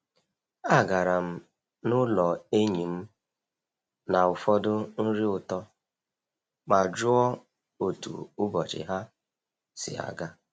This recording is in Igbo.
Agara m n'ụlọ enyi m na ụfọdụ nri ụtọ ma jụọ otu ụbọchị ha si aga.